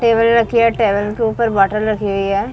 Table रखी है table के ऊपर बोतल रखी हुई है ।